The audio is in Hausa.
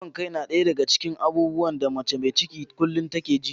Ciwon kai na ɗaya daga cikin abubuwan da mace mai ciki kullum take ji.